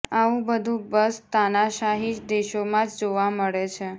આવું બધું બસ તાનાશાહી દેશોમાં જ જોવા મળે છે